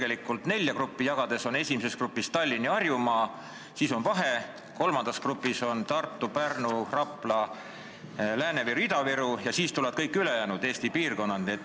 Eristatakse nelja kategooriat: esimeses grupis on Tallinn ja muu Harjumaa, teises pole ühtki maakonda, kolmandas grupis on Tartu, Pärnu, Rapla, Lääne-Viru ja Ida-Viru ning neljandasse jäävad kõik ülejäänud Eesti piirkonnad.